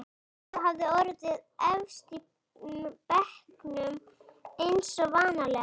Heiða hafði orðið efst í bekknum eins og vanalega.